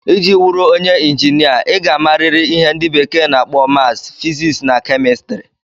Ị ji wụrụ onye Injinia, ị ga-amariri ihe ndị bekee na-akpọ maths, physics na kemistri.